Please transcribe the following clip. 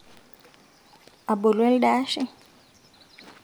abolu elde ashe